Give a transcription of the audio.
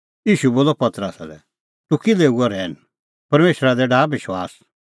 ईशू बोलअ पतरसा लै तूह किल्है हुअ रहैन परमेशरा दी डाहा विश्वास